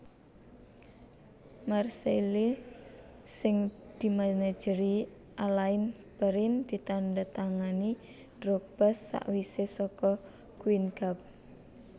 Marseille sing dimanajeri Alain Perrin ditandatangani Drogba sakwise saka Guingamp